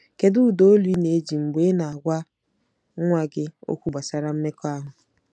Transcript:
Kedu ụda olu ị na-eji mgbe ị na-agwa nwa gị okwu gbasara mmekọahụ?